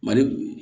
Mali